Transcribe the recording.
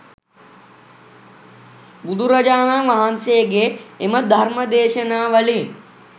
බුදුරජාණන් වහන්සේගේ එම ධර්ම දේශනා වලින්